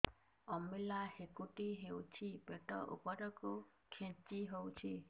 ଅମ୍ବିଳା ହେକୁଟୀ ହେଉଛି ପେଟ ଉପରକୁ ଖେଞ୍ଚି ହଉଚି